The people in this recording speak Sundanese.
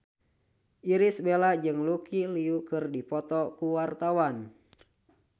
Irish Bella jeung Lucy Liu keur dipoto ku wartawan